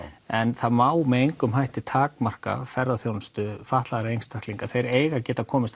en það má með engum hætti takmarka ferðaþjónustu fatlaðra einstaklinga þeir eiga að geta komist